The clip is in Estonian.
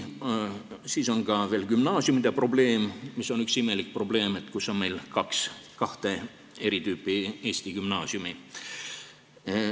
Siis on veel gümnaasiumide probleem, mis on üks imelik probleem, sest meil on kahte tüüpi eesti gümnaasiume.